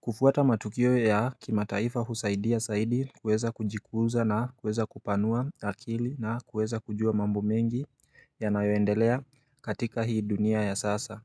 kufuata matukio ya kima taifa husaidia saidi kuweza kujikuza na kuweza kupanua akili na kuweza kujua mambo mengi ya nayoendelea katika hii dunia ya sasa.